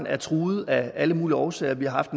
er truet af alle mulige årsager vi har